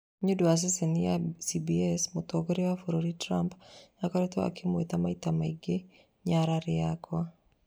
Nĩũndũ wa ceceni ya CBS mũtongoria wa bũrũri Trump akoretwo akĩmwĩtwa maita maingĩ "nyarari yakwa"